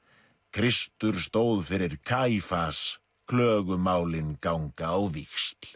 Kristur stóð fyrir klögumálin ganga á víxl